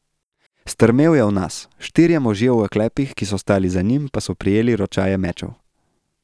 Strmel je v nas, štirje možje v oklepih, ki so stali za njim, pa so prijeli ročaje mečev.